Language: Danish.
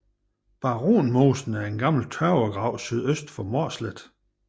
Baronmosen er en gammel tørvegrav sydøst for Mårslet